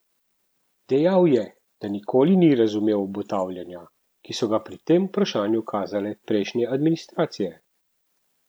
Dejal je, da nikoli ni razumel obotavljanja, ki so ga pri tem vprašanju kazale prejšnje administracije.